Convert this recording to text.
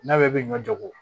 N'a bɛ ɲɔ jago